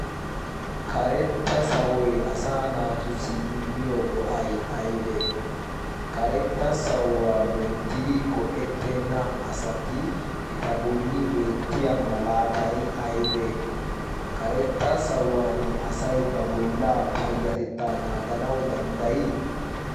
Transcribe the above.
karetta sawoy asa naatussi immiyo go'ay aybee karetta sawuwaa loyttidi go'ettenna asati eta bolli beettiya malaatay aybee karetta sawuwan asay ba bollaa payyatettaa naaganau danddayii